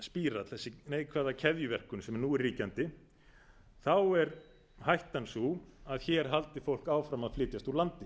spírall þessi neikvæða keðjuverkun sem nú er ríkjandi er hættan sú að hér haldi fólk áfram að flytjast úr landi